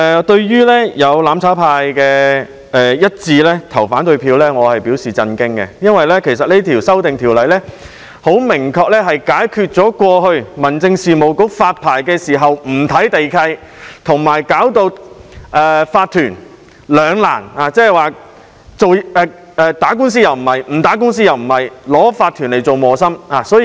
對於"攬炒派"議員一致投反對票，我表示震驚，因為有關修訂能夠明確地解決過去民政事務局發牌時不看地契，令業主立案法團陷入兩難——究竟打官司，還是不打官司——成為磨心的問題。